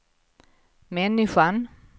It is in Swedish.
människan